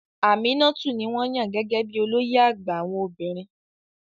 Aminatu ni wọ́n yàn gẹ́gẹ́ bí i olóyè àgbà àwọn obìnrin.